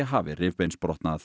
hafi